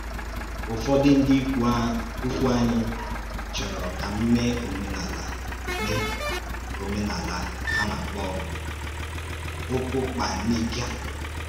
Ụ́fọ̀dù ǹdí ìkwù ànyì chọ̀rọ̀ kà m mèé òmènàlà à mèé òmènàlà à na-àkpọ̀ ukupyanika.